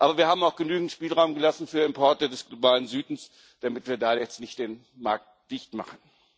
Aber wir haben auch genügend Spielraum gelassen für Importe des Globalen Südens, damit wir da jetzt nicht den Markt dicht machen.